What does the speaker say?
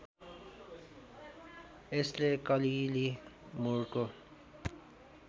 यसले कलिली मुरको